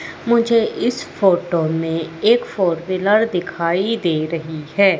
मुझे इस फोटो में एक फोर व्हीलर दिखाई दे रही है।